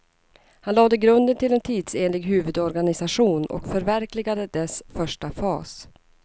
Han lade grunden till en tidsenlig huvudorganisation och förverkligade dess första fas.